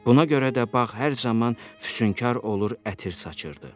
Buna görə də bağ hər zaman füsunkar olur, ətir saçırdı.